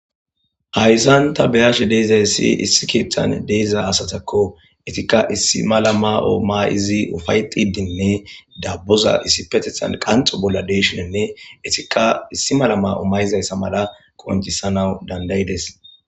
Haysan ta beyashe de'izays issi ketan de'iza asatako Etika issi mala mayo mayid ufa'etidinne daboza issi bolla qanxi bolla de'ishninne Etika issi mala mayo mayizaysa mala qoncisanawu danda'ided